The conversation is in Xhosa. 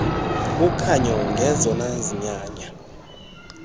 ukhanyo ngezona zinyanya